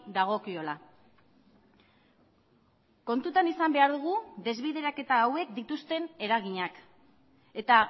dagokiola kontutan izan behar dugu desbideraketa hauek dituzten eraginak eta